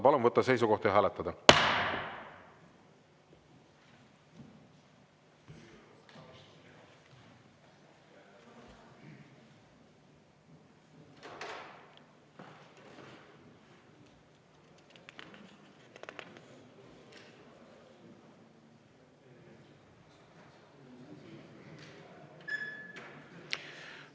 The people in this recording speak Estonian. Palun võtta seisukoht ja hääletada!